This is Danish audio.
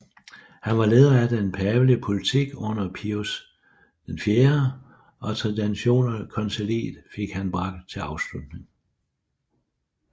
Han var leder af den pavelige politik under Pius IV og Tridentinerkonciliet fik han bragt til afslutning